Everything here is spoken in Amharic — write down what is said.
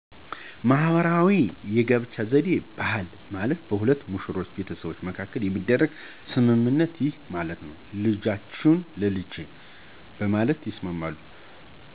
ማህበረሰባዊ የጋብቻ ዘዴ (ባህል) ማለት በሁለት ሙሽሮች ቤተሰቦች መካከል የሚደረግ ስምምነት ነው ይህም ማለት '' ልጃችሁን ለልጃችን '' በማለት ይስማማሉ